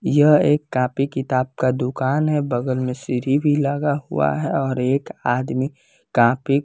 यह एक कॉपी किताब का दुकान है बगल में सीढ़ी भी लगा हुआ है और एक आदमी कॉपी --